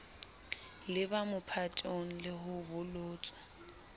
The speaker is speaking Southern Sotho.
leba mophatong le ho bolotswa